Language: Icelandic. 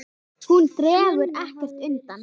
Hún dregur ekkert undan.